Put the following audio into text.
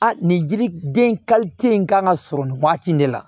A nin jiriden in kan ka sɔrɔ nin waati in de la